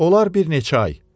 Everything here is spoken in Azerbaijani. Onlar bir neçə ay.